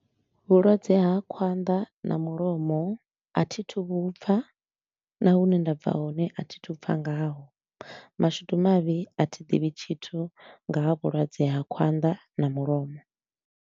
Vhulwadze ha khwanḓa na mulomo a thi thu vhu pfa na hune nda bva hone a thi thu pfa ngaho. Mashudu mavhi a thi ḓivhi tshithu nga ha vhulwadze ha khwanḓa na mulomo.